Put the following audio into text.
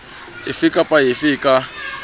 efe kapa efe e ka